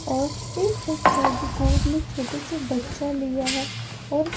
और एक बच्चा जो गोद में छोटे से बच्चा लिया है और--